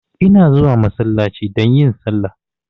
Ina zuwa masallaci domin yin salla.